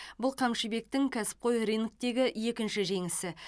бұл қамшыбектің кәсіпқой рингтегі екінші жеңісі